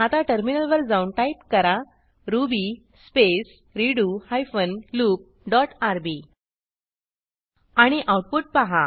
आता टर्मिनलवर जाऊन टाईप करा Ruby space redo hyphen loop dot RB आणि आऊटपुट पहा